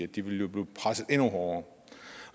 de vil jo blive presset endnu hårdere